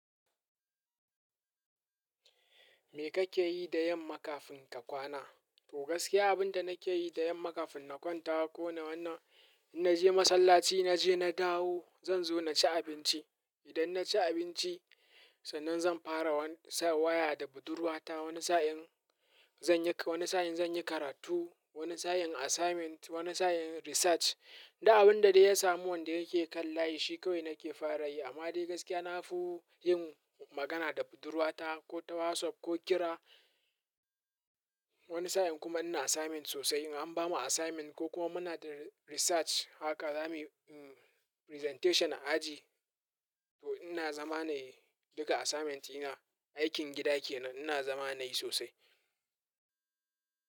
Me kake yi da yamma kafin ka kwana? To gaskiya abinda nake yi da yamma kafin na kwanta ko na wannan, in naje masallaci naje na dawo zan zo na ci abinci. Idan na ci abinci, sannan zan fara sa waya da budurwata wani sa'in, zan yi wani sa'in zan yi karatu, wani sa'in assignment, wani sa'in research. Duk abinda dai ya samu wanda yake kan layi shi kawai nake fara yi. Amma dai gaskiya nafi yin magana da budurwata ko ta WhatsApp ko kira. Wani sa'in kuma ina assignment sosai in an bamu assignment ko kuma muna da research haka zamuyi presentation a aji. To ina zama nayi duka assignment ɗina, aikin gida kenan ina zama nayi sosai.